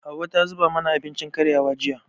Hauwa ta zuba mana abincin karyawa, jiya.